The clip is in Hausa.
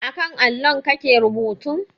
A kan allon kake rubuta?